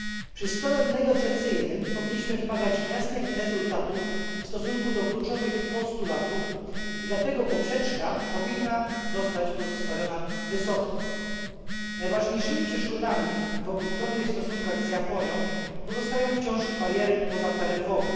Przy stole negocjacyjnym powinniśmy wymagać jasnych rezultatów w stosunku do kluczowych postulatów i dlatego poprzeczka powinna zostać pozostawiona wysoko. Najważniejszymi przeszkodami w obustronnych stosunkach z Japonią pozostają wciąż bariery pozataryfowe.